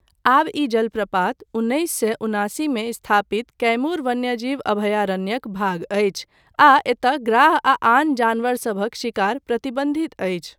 आब ई जलप्रपात उन्नैस सए उनासीमे स्थापित कैमूर वन्यजीव अभयारण्यक भाग अछि आ एतय ग्राह आ आन जानवरसभक शिकार प्रतिबन्धित अछि।